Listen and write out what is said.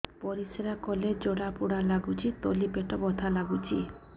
ପରିଶ୍ରା କଲେ ଜଳା ପୋଡା ଲାଗୁଚି ତଳି ପେଟ ବଥା ଲାଗୁଛି